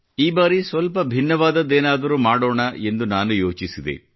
ಈ ಬಾರಿ ಸ್ವಲ್ಪ ಭಿನ್ನವಾದದ್ದೇನಾದರೂ ಮಾಡೋಣ ಎಂದು ನಾನು ಯೋಚಿಸಿದೆ